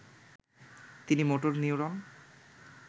তিনি motor neuron